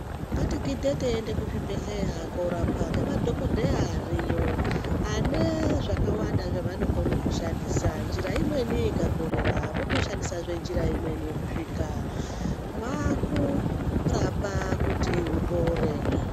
Ngatigidhe teienda kuzvibhedhlera korapwa ngemadhokodheya ariyo ane zvakawanda zvavanokona kushandisa njira imweni ikakorera votoshandisahe njira imweni kusvika vakurapa kuti upore.